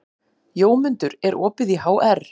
Jómundur, er opið í HR?